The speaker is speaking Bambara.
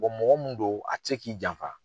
mɔgɔ min do a tɛ se k'i janfa.